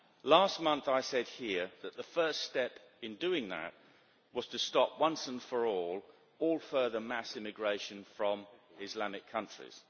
Last month I said here that the first step in doing that was to stop, once and for all, all further mass immigration from Islamic countries.